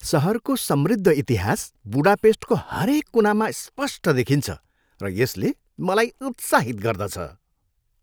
सहरको समृद्ध इतिहास बुडापेस्टको हरेक कुनामा स्पष्ट देखिन्छ, र यसले मलाई उत्साहित गर्दछ।